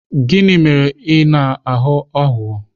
Gịnị mere ị na-aghọ aghụghọ?